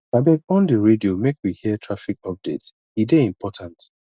abeg on di radio make we hear traffic update e dey important